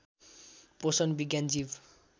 पोषण विज्ञान जीव